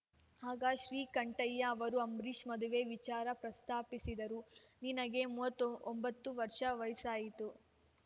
ಆಗ ಶ್ರೀಕಂಠಯ್ಯ ಅವರು ಅಂಬರೀಷ್‌ ಮದುವೆ ವಿಚಾರ ಪ್ರಸ್ತಾಪಿಸಿದರು ನಿನಗೆ ಮೂವತ್ತ್ ಒಂಬತ್ತು ವರ್ಷ ವಯಸ್ಸಾಯ್ತು